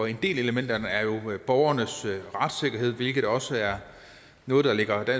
en del af elementerne er jo borgernes retssikkerhed hvilket også er noget der ligger